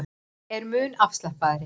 Er mun afslappaðri